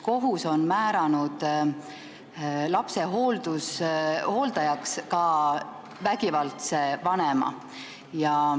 Kohus on aga määranud lapse hooldajaks vägivaldse vanema.